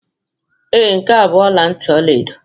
Ee, nke a bụ ọla ntị ọla edo